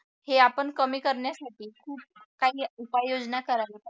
हे आपण कमी करण्यासाठी खूप काही उपाययोजना करायला पाहिजे